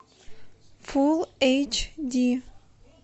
фулл эйч ди